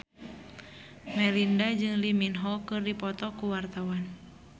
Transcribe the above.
Melinda jeung Lee Min Ho keur dipoto ku wartawan